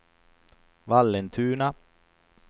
Vallentuna